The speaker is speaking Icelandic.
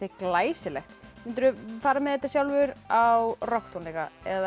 glæsilegt mundirðu fara með þetta sjálfur á rokktónleika eða